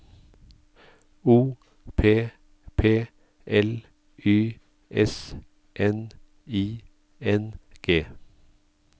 O P P L Y S N I N G